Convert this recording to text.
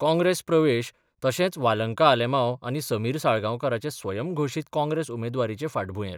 कॉंग्रेस प्रवेश तशेंच वालंका आलेमांव आनी समीर साळगांवकाराचे स्वयंघोशीत काँग्रेस उमेदवारीचे फाटभुंयेर.